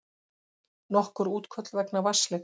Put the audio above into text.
Nokkur útköll vegna vatnsleka